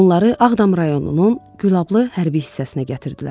Onları Ağdam rayonunun Gülablı hərbi hissəsinə gətirdilər.